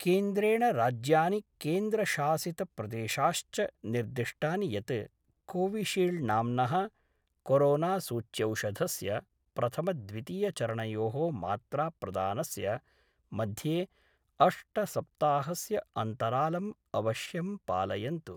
केन्द्रेण राज्यानि केन्द्रशासित प्रदेशाश्च निर्दिष्टानि यत् कोविशील्ड् नाम्नः कोरोनासूच्यौषधस्य प्रथमद्वितीयचरणयोः मात्राप्रदानस्य मध्ये अष्टसप्ताहस्य अन्तरालं अवश्यं पालयन्तु।